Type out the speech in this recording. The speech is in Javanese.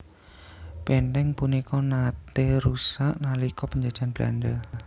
Bèntèng punika naté rusak nalika penjajahan Belanda